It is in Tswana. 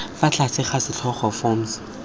fa tlase ga setlhogo forms